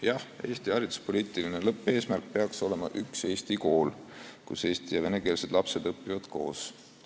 Jah, Eesti hariduspoliitiline lõppeesmärk peaks olema üks Eesti kool, kus eesti- ja venekeelsed lapsed õpivad koos.